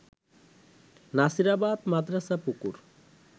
নাসিরাবাদ মাদ্রাসার পুকুর